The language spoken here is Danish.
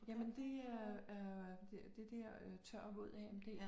Jamen det er er det der øh tør våd AMD